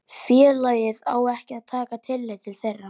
félagið á ekki að taka tillit til þeirra.